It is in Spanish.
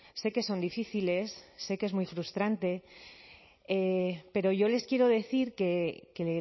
sé que son difíciles sé que es muy frustrante pero yo les quiero decir que